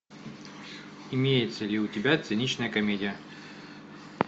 имеется ли у тебя циничная комедия